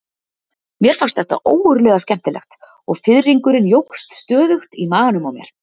Mér fannst þetta ógurlega skemmtilegt og fiðringurinn jókst stöðugt í maganum á mér.